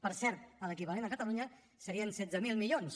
per cert l’equivalent a catalunya serien setze mil milions